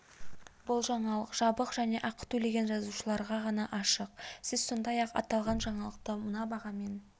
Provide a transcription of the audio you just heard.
бұл жаңалық жабық және ақы төлеген жазылушыларға ғана ашық сіз сондай-ақ аталған жаңалықты мына бағамен де